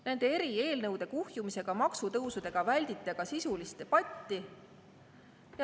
Nende eri eelnõude kuhjumisega, nende maksutõusudega väldite te sisulist debatti.